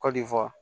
Kɔdiwari